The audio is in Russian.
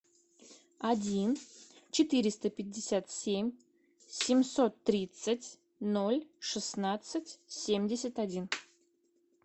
один четыреста пятьдесят семь семьсот тридцать ноль шестнадцать семьдесят один